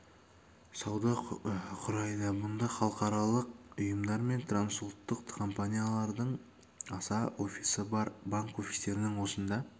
пен сауда құрайды мұнда халықаралық ұйымдар мен трансұлттық компаниялардың аса офисі бар банк офистерінің осында